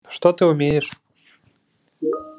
что ты умеешь